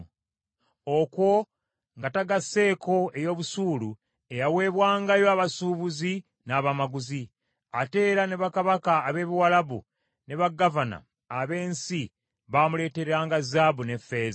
okwo nga tagasseeko ey’obusuulu eyaweebwangayo abasuubuzi n’abamaguzi. Ate era ne bakabaka ab’e Buwalabu ne bagavana ab’ensi bamuleeteranga zaabu n’effeeza.